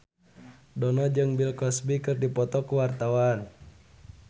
Dono jeung Bill Cosby keur dipoto ku wartawan